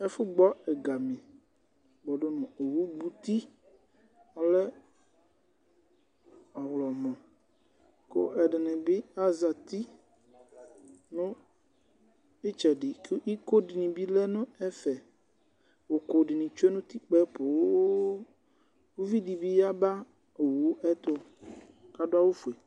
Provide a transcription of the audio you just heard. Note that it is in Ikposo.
Ɛfu gbɔ ɛgami kpɔdu nu owu gbu'ti, ɔlɛ ɔwlɔmɔ ku ɛdini bi azati nu itsɛdi ku iko dini bi lɛ nu ɛfɛUku dini bi tsue nu'tikpe'ɛ pooo Uvɩ di bi 'yaba owu'ɛ tu k'adu awu fue